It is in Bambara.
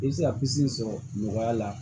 I bɛ se ka sɔrɔ nɔgɔya la